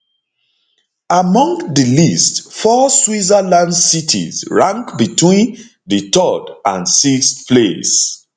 among di list four switzerland switzerland cities rank between di third and sixth place